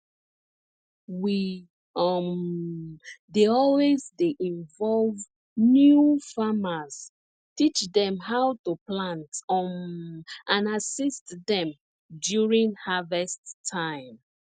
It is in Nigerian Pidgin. we um dey always dey involve new farmers teach dem how to plant um and assist dem during harvest time